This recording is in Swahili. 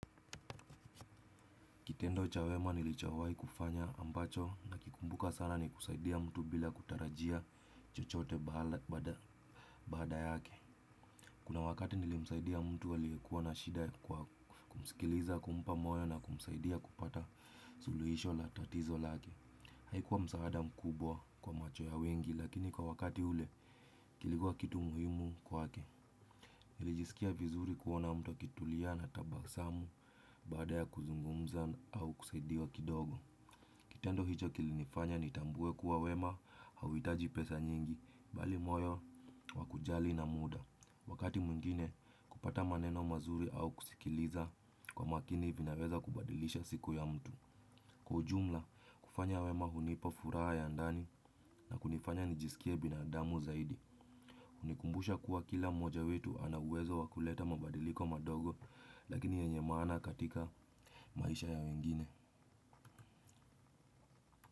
Kitendo cha wema nilichawahi kufanya ambacho nikikumbuka sana ni kusaidia mtu bila kutarajia chochote baada yake. Kuna wakati nilimsaidia mtu aliokuwa na shida kwa kumsikiliza kumpa moyo na kumsaidia kupata suluhisho la tatizo lake haikuwa msaada mkubwa kwa macho ya wengi lakini kwa wakati ule kulikuwa kitu muhimu kwake. Niliskia vizuri kuona mtu ametulia na tabasamu baada ya kuzungumza au kusaidiwa kidogo kitendo hicho kilifanya nitambue kuwa wema auhitaji pesa nyingi bali moyo wakujali na muda. Wakati mwingine kupata maneno mazuri au kusikiliza kwa makini vinaweza kubadilisha siku ya mtu. Kwa ujumla kufanya wema hunipa furaha ya ndani na kunifanya nijisikie binadamu zaidi. Hunikumbusha kuwa kila moja wetu ana uwezo wakuleta mabadiliko madogo lakini yenye maana katika maisha ya wengine.